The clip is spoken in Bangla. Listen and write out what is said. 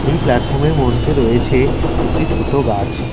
এই প্লাটফর্ম -এর মধ্যে রয়েছে একটি ছোটো গাছ।